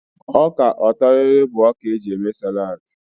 Ọka ọtọrịrị bụ ọka e ji eme sálàd.